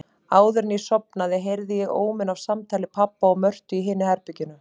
Áðuren ég sofnaði heyrði ég óminn af samtali pabba og Mörtu í hinu herberginu.